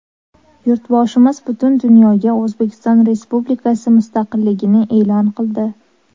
Yurtboshimiz butun dunyoga O‘zbekiston Respublikasi mustaqilligini e’lon qildi.